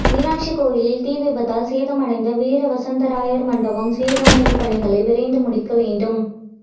மீனாட்சி கோயிலில் தீ விபத்தால் சேதமடைந்த வீர வசந்தராயர் மண்டபம் சீரமைப்பு பணிகளை விரைந்து முடிக்கவேண்டும்